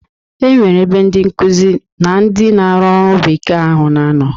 E nwere ebe ndi nkuzi na ndị na-arụ ọru bekee ahụ na-anọ.